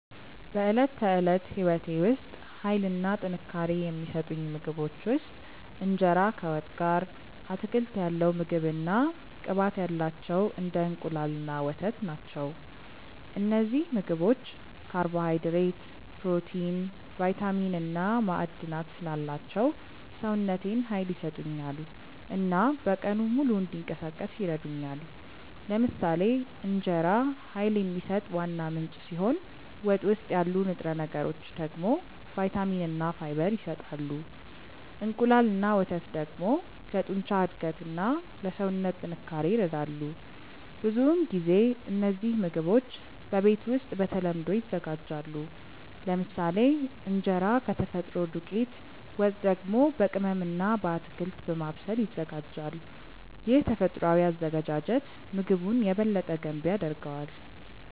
በዕለት ተዕለት ሕይወቴ ውስጥ ኃይል እና ጥንካሬ የሚሰጡኝ ምግቦች ውስጥ እንጀራ ከወጥ ጋር፣ አትክልት ያለው ምግብ እና ቅባት ያላቸው እንደ እንቁላል እና ወተት ናቸው። እነዚህ ምግቦች ካርቦሃይድሬት፣ ፕሮቲን፣ ቫይታሚን እና ማዕድናት ስላላቸው ሰውነቴን ኃይል ይሰጡኛል እና በቀኑ ሙሉ እንዲንቀሳቀስ ይረዱኛል። ለምሳሌ እንጀራ ኃይል የሚሰጥ ዋና ምንጭ ሲሆን ወጥ ውስጥ ያሉ ንጥረ ነገሮች ደግሞ ቫይታሚን እና ፋይበር ይሰጣሉ። እንቁላል እና ወተት ደግሞ ለጡንቻ እድገት እና ለሰውነት ጥንካሬ ይረዳሉ። ብዙውን ጊዜ እነዚህ ምግቦች በቤት ውስጥ በተለምዶ ይዘጋጃሉ፤ ለምሳሌ እንጀራ ከተፈጥሮ ዱቄት፣ ወጥ ደግሞ በቅመም እና በአትክልት በማብሰል ይዘጋጃል። ይህ ተፈጥሯዊ አዘገጃጀት ምግቡን የበለጠ ገንቢ ያደርገዋል።